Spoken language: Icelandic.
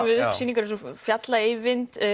upp sýningu eins og fjalla Eyvind